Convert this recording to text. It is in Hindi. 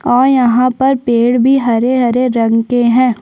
और यहाँ पर पेड़ भी हरे-हरे रंग के है।